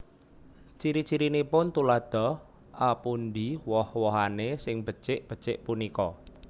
Ciri cirinipun Tuladha A Pundi woh wohané sing becik becik punika